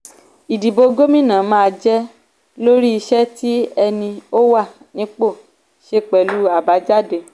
ìdìbò gómìnà máa jẹ́ lórí iṣẹ́ tí ẹni ó wà nípò ṣe pẹ̀lú àbájáde.